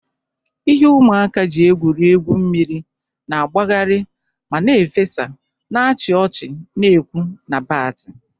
Ihe ụmụaka ji egwuri egwu mmiri na-agbagharị ma na-efesa, na-achị ọchị na-ekwu na bati.